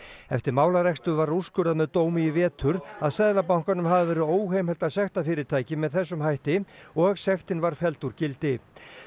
eftir málarekstur var úrskurðað með dómi í vetur að Seðlabankanum hafi verið óheimilt að sekta fyrirtækið með þessum hætti og sektin var felld úr gildi